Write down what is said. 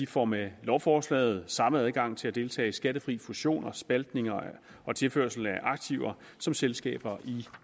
får med lovforslaget samme adgang til at deltage i skattefri fusioner spaltninger og tilførsler af aktiver som selskaber i